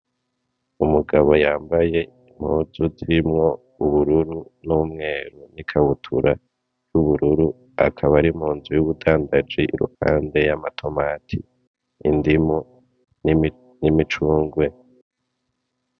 Umugabo yambaye impuzu zirimwo ubururu n' umwera ikabutura y' ubururu akaba ari mu nzu y' ubudandaji iruhande y' amatomati, indimu, n' imicungwe.